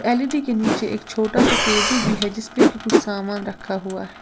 L E D के नीचे एक छोटा सा टेबल भी है जिसपे कि कुछ सामान रखा हुआ है।